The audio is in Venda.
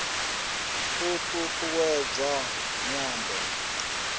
u t ut uwedza nyambo